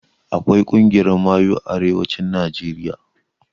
Akwai ƙungiyar mayu a arewacin najeriya